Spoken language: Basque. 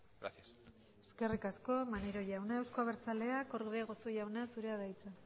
gracias eskerrik asko maneiro jauna euzko abertzaleak orbegozo jauna zurea da hitza